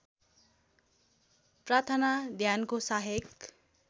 प्रार्थना ध्यानको सहायक